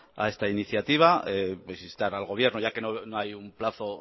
a esta iniciativa pues instar al gobierno ya que no hay un plazo